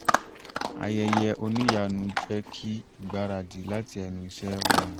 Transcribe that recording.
ayẹyẹ oníyanu jẹ́ kí ìgbaradì lati ẹnu iṣẹ́ rọrùn